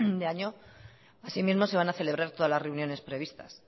de año así mismo se van a celebrar todas las reuniones previstas